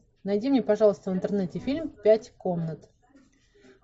найди мне пожалуйста в интернете фильм пять комнат